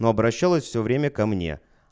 но обращалась всё время ко мне